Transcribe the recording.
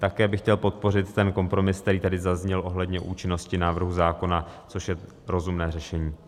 Také bych chtěl podpořit ten kompromis, který tady zazněl ohledně účinnosti návrhu zákona, což je rozumné řešení.